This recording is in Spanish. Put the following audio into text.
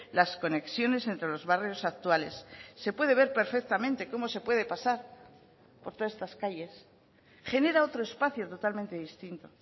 las conexiones entre los barrios actuales se puede ver perfectamente cómo se puede pasar por todas estas calles genera otro espacio totalmente distinto